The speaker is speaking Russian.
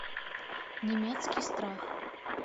немецкий страх